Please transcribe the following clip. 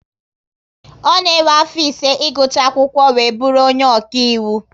Ọ na ewe afọ ise igucha akwụkwọ wee bụrụ onye ọkaiwu